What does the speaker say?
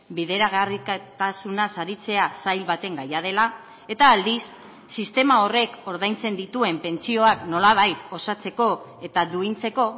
bideragarritasunaz aritzea sail baten gaia dela eta aldiz sistema horrek ordaintzen dituen pentsioak nolabait osatzeko eta duintzeko